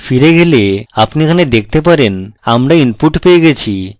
ফিরে যাই আপনি এখানে দেখতে পারেন আমরা input পেয়ে গেছি